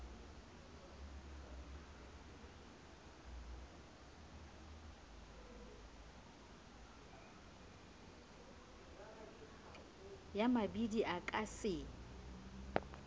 ya mabidi o ka se